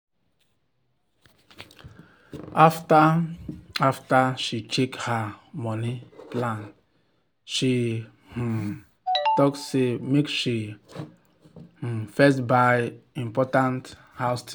after after she check her money plan she um talk say make she um first buy important house things.